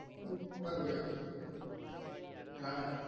யாரு